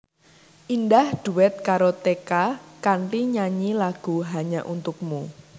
Indah dhuet karo Teka kanthi nyanyi lagu Hanya Untukmu